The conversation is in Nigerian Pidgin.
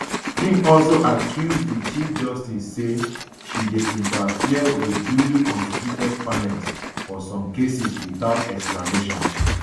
im also accuse di chief justice say she dey interfere wit duly constituted panels for some cases without explanation